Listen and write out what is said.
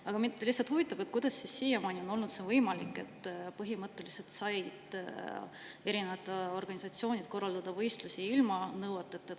Aga mind lihtsalt huvitab, kuidas siiamaani on olnud võimalik, et põhimõtteliselt said erinevad organisatsioonid korraldada võistlusi ilma nende nõueteta.